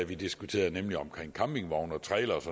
vi diskuterede nemlig om campingvogne trailere